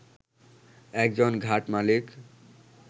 একজন ঘাট মালিক